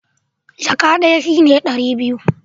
Jaka ɗaya shi ne ɗari biyu